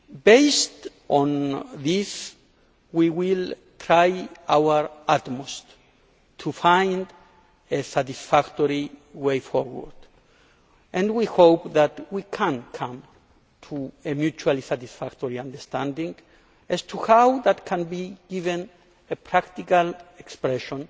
Based on this, we will try our utmost to find a satisfactory way forward and we hope that we can come to a mutually satisfactory understanding as to how that can be given a practical expression,